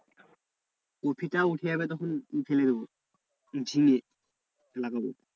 কপিটা উঠে যাবে তখন ই ফেলে দেব, ঝিঙে লাগাবো।